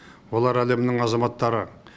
олар әлемнің азаматтары